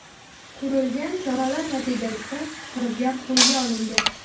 Ko‘rilgan choralar natijasida firibgar qo‘lga olingan.